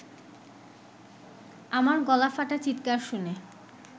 আমার গলা ফাটা চিৎকার শুনে